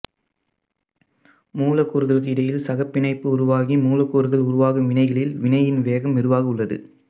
மூலக்கூறுகளுக்கு இடையில் சகப்பிணைப்பு உருவாகி மூலக்கூறுகள் உருவாகும் வினைகளில் வினையின் வேகம் மெதுவாக உள்ளது